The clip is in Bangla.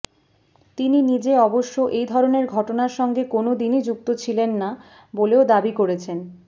তিনি নিজে অবশ্য এই ধরণের ঘটনার সঙ্গে কোনওদিনই যুক্ত ছিলেন না বলেও দাবি করেছেন